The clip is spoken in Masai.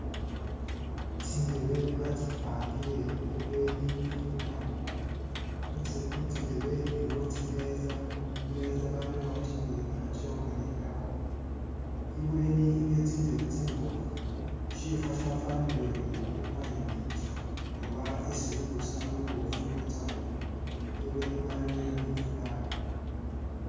Tsindebe batsipangile ibweni ni'inyuma, khu tsi khutsi ndebe ilikho tsimeza, khu meza balerekho kyimizindalo kye khukanihilakho, ibweni iliyo tsindebe tsimbofu, shifa shyafanile uri mu parliament oba esi lubusano lubofu lutsya khu ba, ibweni balereyo ni flag